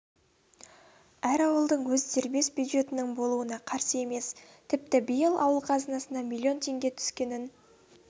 әр ауылдың өз дербес бюджетінің болуына қарсы емес тіпті биыл ауыл қазынасына миллион теңге түскенін